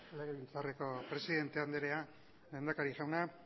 legebiltzarreko presidente andrea lehendakari jauna